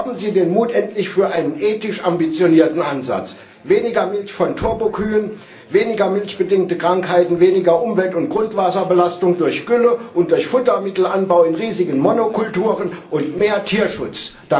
Haben Sie den Mut endlich für einen ethisch ambitionierten Ansatz weniger Milch von Turbokühen, weniger milchbedingte Krankheiten, weniger Umwelt und Grundwasserbelastung durch Gülle und durch Futtermittelanbau in riesigen Monokulturen und mehr Tierschutz!